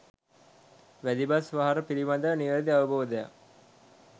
වැදි බස් වහර පිළිබඳව නිවැරදි අවබෝධයක්